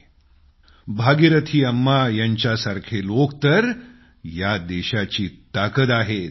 जाहीर आहे भागीरथी अम्मा यांच्यासारखे लोक तर या देशाची ताकद आहेत